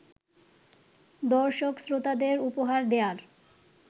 দর্শক-শ্রোতাদের উপহার দেয়ার